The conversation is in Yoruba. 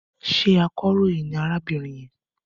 Ṣé akọ̀ròyìn ni arábìnrin yẹn?